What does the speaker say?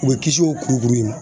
U bɛ kisi o kurukuru ye